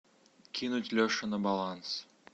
кинуть леше на баланс